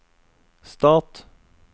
stat